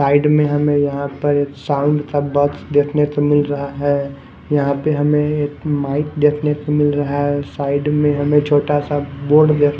side में हमें यहाँं पर साउंड का बहुत देखने को मिल रहा है यहाँं पर हमें माइक देखने को मिल रहा है साइड में है छोटा सा --